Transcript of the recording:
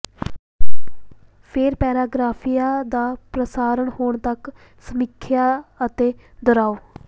ਫੇਰ ਪੈਰਾਗ੍ਰਾਫਿਆਂ ਦਾ ਪ੍ਰਸਾਰਣ ਹੋਣ ਤੱਕ ਸਮੀਖਿਆ ਅਤੇ ਦੁਹਰਾਓ